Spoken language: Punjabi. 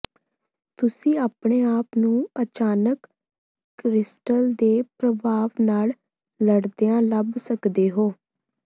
ਤੁਸੀਂ ਆਪਣੇ ਆਪ ਨੂੰ ਅਚਾਨਕ ਕ੍ਰਿਸਟਲ ਦੇ ਪ੍ਰਭਾਵ ਨਾਲ ਲੜਦਿਆਂ ਲੱਭ ਸਕਦੇ ਹੋ